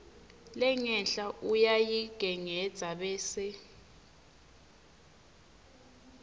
lengenhla uyayigengedza bese